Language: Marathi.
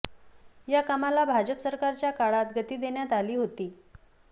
या कामाला भाजप सरकारच्या काळात गती देण्यात आली होती